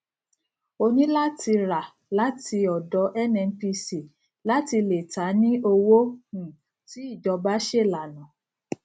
o ní láti rà láti ọdọ nnpcl láti lè tà ní owó um tí ìjọba ṣe lànà